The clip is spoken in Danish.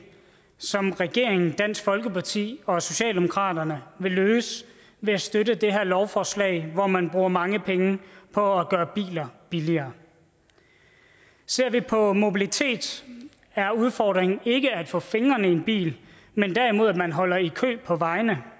regeringen dansk folkeparti og socialdemokratiet vil løse ved at støtte det her lovforslag hvor man bruger mange penge på at gøre biler billigere ser vi på mobilitet er udfordringen ikke at få fingrene i en bil men derimod at man holder i kø på vejene